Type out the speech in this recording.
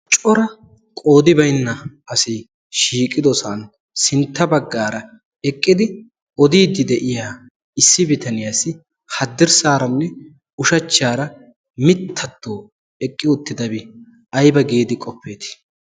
Cora qoodi baynna asi shiiqidosan sintta baggaara eqqidi odiiddi de'iya issi bitaniyaasi haddirssaaranne ushachchaara mittatto eqqi uttidabi ayba giidi qoppeetii?